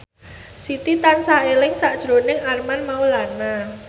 Siti tansah eling sakjroning Armand Maulana